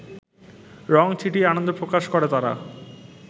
রঙ ছিটিয়ে আনন্দ প্রকাশ করে তারা।